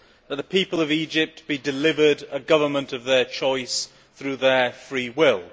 that the people of Egypt be delivered a government of their choice through their free will.